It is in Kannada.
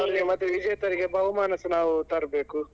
ಮತ್ತೆ ವಿಜೇತರಿಗೆ ಬಹುಮಾನಸ ನಾವ್ ತರ್ಬೇಕು.